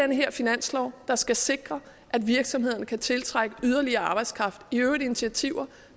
den her finanslov der skal sikre at virksomhederne kan tiltrække yderligere arbejdskraft i øvrigt initiativer